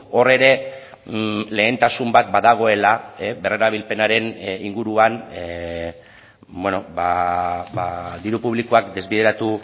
hor ere lehentasun bat badagoela berrerabilpenaren inguruan diru publikoak desbideratu